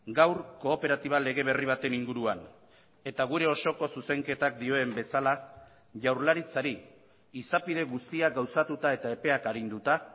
gaur kooperatiba lege berri baten inguruan eta gure osoko zuzenketak dioen bezala jaurlaritzari izapide guztiak gauzatuta eta epeak arinduta